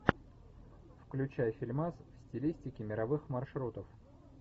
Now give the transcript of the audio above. включай фильмас в стилистике мировых маршрутов